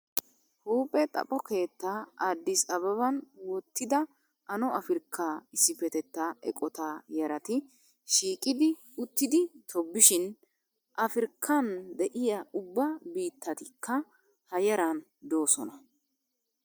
Huuphe xapo keettaa aaddis ababan wottida ano afirkka issippetettaa eqotaa yarati shiiqidi uttidi tobbishin. Afirkkan de'iyaa ubba biittatikka ha yaran doosona.